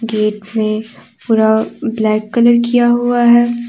Gate में पूरा black colour किया हुआ है।